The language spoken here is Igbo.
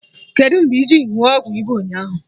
Kedụ mgbe iji ṅụọ ọgwụ ịba ụnyaahụ